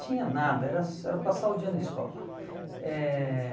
Tinha nada, era era passar o dia na escola. Eh